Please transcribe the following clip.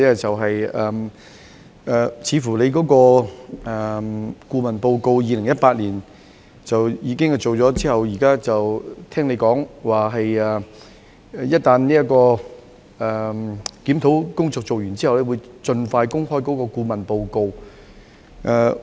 政府在2018年委聘顧問進行研究，而局長剛才提及，當檢討工作完成後，便會盡快公開顧問報告。